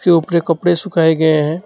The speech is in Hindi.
धूप के कपड़े सुखाय गए हैं।